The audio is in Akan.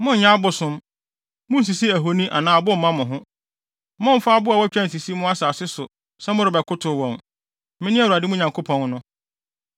“ ‘Monnyɛ abosom. Munnsisi ahoni anaa abo mma mo ho. Mommfa abo a wɔatwa nsisi mo asase so sɛ morebɛkotow wɔn. Mene Awurade mo Nyankopɔn no.